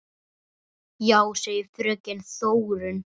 Já, segir fröken Þórunn.